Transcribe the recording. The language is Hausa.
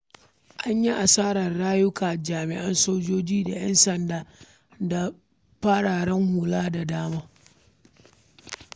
An yi asarar rayukan jami’an soji da ‘yan sanda da fararan hula da dama.